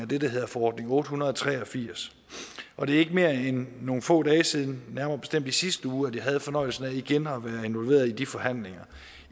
det der hedder forordning otte hundrede og tre og firs og det er ikke mere end nogle få dage siden nærmere bestemt i sidste uge at jeg havde fornøjelsen af igen at være involveret i de forhandlinger